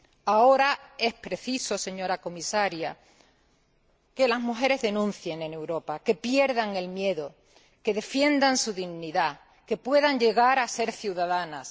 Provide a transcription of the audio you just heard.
Ahora es preciso, señora Comisaria, que las mujeres denuncien en Europa, que pierdan el miedo, que defiendan su dignidad, que puedan llegar a ser ciudadanas.